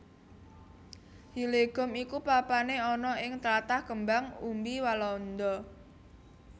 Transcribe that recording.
Hillegom iku papané ana ing tlatah kembang umbi Walanda